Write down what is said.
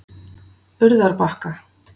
Urðarbakka